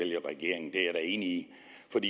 er enig